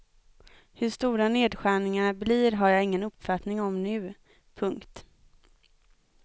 Hur stora nedskärningarna blir har jag ingen uppfattning om nu. punkt